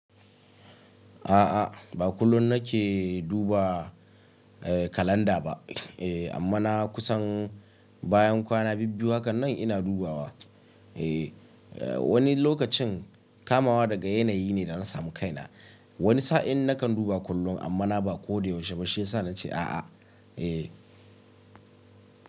A'a, ba kullum nake duba kalanda ba eh amma na kusan bayan kwana bibbiyu, hakan nan ina dubawa. E wani lokacin kamawa daga yanayi ne da na samu kaina. Wani sa'in nakan duba kullum amma na ba ko da yaushe ba shiyasa na ce a'a. E.